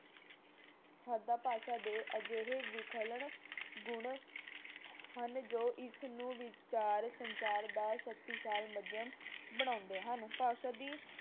ਭਾਸ਼ਾ ਦੇ ਅਜਿਹੇ ਵਿਲੱਖਣ ਗੁਣ ਹਨ ਜੋ ਇਸਨੂੰ ਵਿਚਾਰ ਸੰਸਾਰ ਦਾ ਸ਼ਕਤੀਸ਼ਾਲੀ ਮਾਧਿਅਮ ਬਣਾਉਂਦੇ ਹਨ। ਭਾਸ਼ਾ ਦੀ